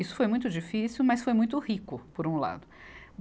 Isso foi muito difícil, mas foi muito rico, por um lado.